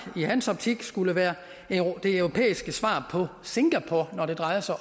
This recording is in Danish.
i hans optik skulle være det europæiske svar på singapore når det drejer sig